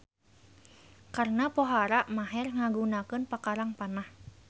Karna pohara maher ngagunakeun pakarang panah.